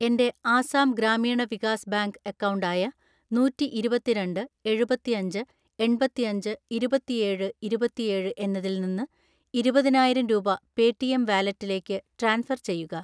എൻ്റെ Assam Gramin Vikas bank account ആയ നൂറ്റിഇരുപത്തിരണ്ട്‍ എഴുപത്തിയഞ്ച് എൺപത്തിഅഞ്ച് ഇരുപത്തിയേഴ് ഇരുപത്തിയേഴ് എന്നതിൽ നിന്ന് ഇരുപതിനായിരം രൂപ പേടിഎം വാലറ്റിലേക്ക് ട്രാൻസ്ഫർ ചെയ്യുക.